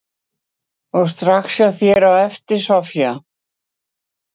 Edda: Og strax hjá þér á eftir, Soffía?